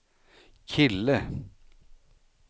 kille